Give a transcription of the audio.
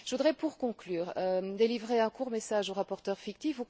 Je voudrais, pour conclure, délivrer un court message aux rapporteurs fictifs.